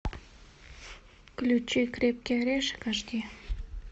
включи крепкий орешек аш ди